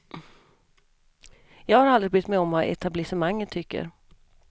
Jag har aldrig brytt mig om vad etablissemanget tycker.